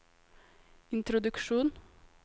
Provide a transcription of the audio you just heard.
introduksjon